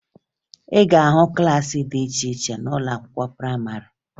Ị ga-ahụ klaasị dị iche iche n'ụlọ akwụkwọ prayịmarị